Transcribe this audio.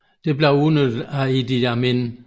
Dette blev udnyttet af Idi Amin